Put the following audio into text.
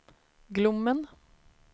Glommen